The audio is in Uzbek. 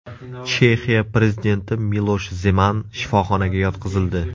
Chexiya prezidenti Milosh Zeman shifoxonaga yotqizildi.